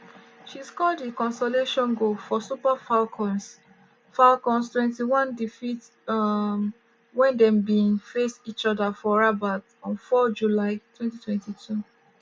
she score di consolation goal for super falcons falcons 2-1 defeat um wen dem bin face each oda for rabat on 4 july 2022.